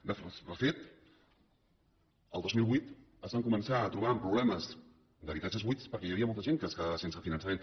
de fet el dos mil vuit es van començar a trobar amb problemes d’habitatges buits perquè hi havia molta gent que es quedava sense finançament